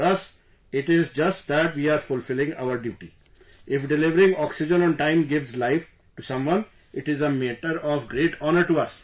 For us, it's just that we are fulfilling our duty...if delivering oxygen on time gives life to someone, it is a matter of great honour for us